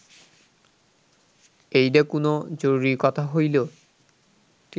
এইডা কুনো জরুরি কথা হইল